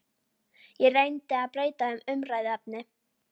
Ég reyndi að breyta um umræðuefni.